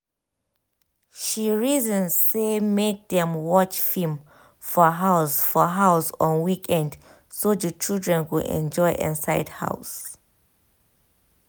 she reason say make dem watch film for house for house on weekend so the children go enjoy inside house